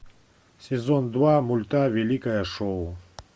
сезон два мульта великое шоу